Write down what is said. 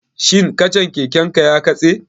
Shin kacan keken ka ya katse?